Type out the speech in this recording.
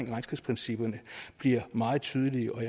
regnskabsprincipperne bliver meget tydelige og